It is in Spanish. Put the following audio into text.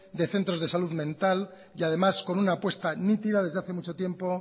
de centros de salud mental y además con una apuesta nítida desde hace mucho tiempo